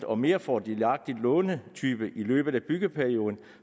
og mere fordelagtig lånetype i løbet af byggeperioden